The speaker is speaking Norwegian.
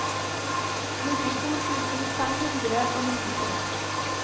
nittito tusen fem hundre og nittitre